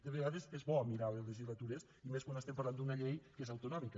de vegades és bo mirar les legislacions i més quan estem parlant d’una llei que és autonòmica